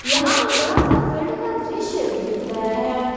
यहां पर बड़ा सा फील्ड का दृश्य दिख रहा है।